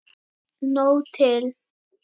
Nóg til.